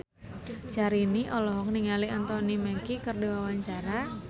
Syahrini olohok ningali Anthony Mackie keur diwawancara